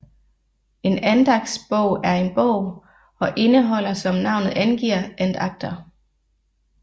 En andagtsbog er en bog og indeholder som navnet angiver andagter